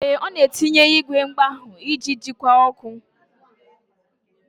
Ee, ọ na-etinye igwe mkpagha iji jikwa ọkụ.